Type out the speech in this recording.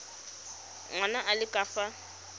ngwana a le ka fa